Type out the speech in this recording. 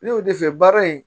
Ne y'o de f'i ye baara in